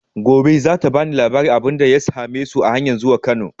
Gobe za ta ba ni labarin abin da ya same su a hanyan zuwa Kano.